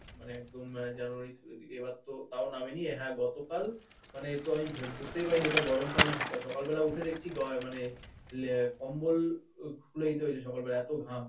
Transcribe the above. মানে একদম জানুয়ারির দিকে এবারতো তাও নামেনি। হ্যাঁ গতকাল মানেতো আমি বু বুঝতেই পারিনি ওটা গরমকাল না শীতকাল সকালবেলা উঠে দেখছি গায়ে মানে লেপ, কম্বল খুলে দিতে হয়েছে সকালবেলা এত ঘাম।